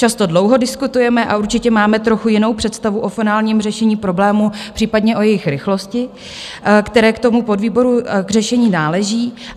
Často dlouho diskutujeme a určitě máme trochu jinou představu o finálním řešení problémů, případně o jejich rychlosti, které k tomu podvýboru k řešení náleží.